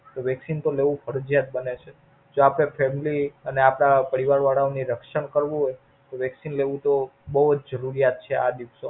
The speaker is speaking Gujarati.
Vaccine તો લેવું ફરિજયાત બને છે. જો આપણા Family અને આપડા પરિવાર વાળા ઓ નું રક્ષણ કરવું હોય તો Vaccine લેવું તો બોવ જરૂરિયાત છે આ દિવસો માં.